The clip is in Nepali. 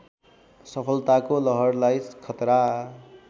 सफलताको लहरलाई खतरा